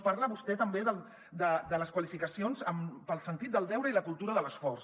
parla vostè també de les qualificacions pel sentit del deure i la cultura de l’esforç